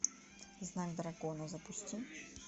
знак дракона запусти